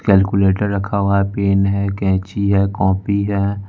Calculator रखा हुआ pen है कैंची है कॉपी है।